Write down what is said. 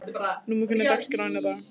Númi, hvernig er dagskráin í dag?